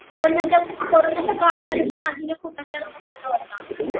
कोरोनाच्या काळामध्ये पण अजून एक कुढला तर रोग आला व्हता